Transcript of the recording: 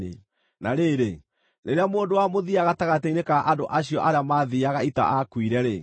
Na rĩrĩ, rĩrĩa mũndũ wa mũthia gatagatĩ-inĩ ka andũ acio arĩa maathiiaga ita aakuire-rĩ,